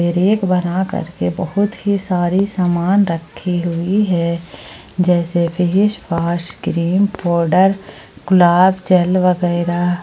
Rake बनाकर के बहुत ही सारी सामान रखी हुई है जैसे भी फेस वास क्रीम पाउडर गुलाब जल वगैरा।